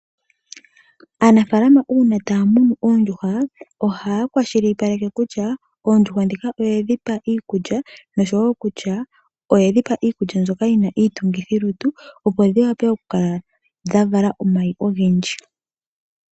Aanafaalama uuna taya munu oondjuhwa ohaya kwashilipaleke kutya oondjuhwa ndhika oye dhi pa iikulya noshowo kutya oye dhi pa iikulya mbyoka yi na iitungithilutu, opo dhi wape okukala dha vala omayi ogendji.